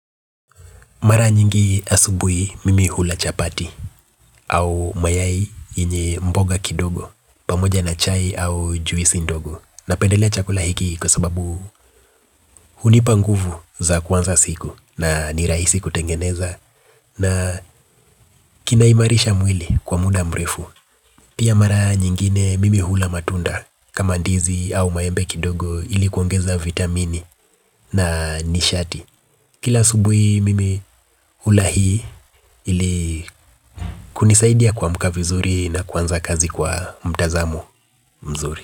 Mara nyingi asubuhi mimi hula chapati au mayai yenye mboga kidogo pamoja na chai au juisi ndogo. Napendelea chakula hiki kwa sababu hunipa nguvu za kuanza siku na nirahisi kutengeneza na kinaimarisha mwili kwa muda mrefu. Pia mara nyingine mimi hula matunda kama ndizi au maembe kidogo ili kuongeza vitamini na nishati. Kila subuhi mimi hula hii ili kunisaidia kuamka vizuri na kuanza kazi kwa mtazamo mzuri.